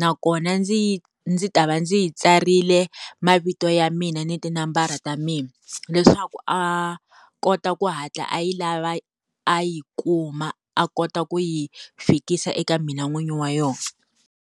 nakona ndzi yi ndzi ta va ndzi yi tsarile mavito ya mina ni tinambara ta mina leswaku a kota ku hatla a yi lava a yi kuma a kota ku yi fikisa eka mina n'wini wa yona.